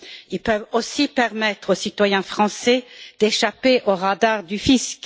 Ils peuvent aussi permettre aux citoyens français d'échapper aux radars du fisc.